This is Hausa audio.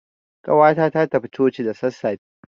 Ƙawata ta tafi coci da sassafe.